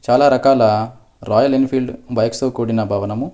చాలా రకాల Royal Enfield బైక్స్తో కూడిన భవనము--